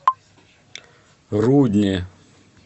рудне